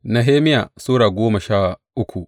Nehemiya Sura goma sha uku